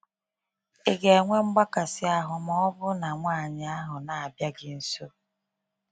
ị ga enwe mgbakasi ahụ maọbu na nwanyị ahụ na abịa gị nso?